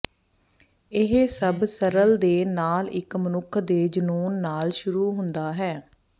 ਇਹ ਸਭ ਸਰਲ ਦੇ ਨਾਲ ਇੱਕ ਮਨੁੱਖ ਦੇ ਜਨੂੰਨ ਨਾਲ ਸ਼ੁਰੂ ਹੁੰਦਾ ਹੈ